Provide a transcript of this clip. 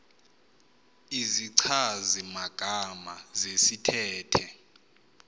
izichazi magama zesithethe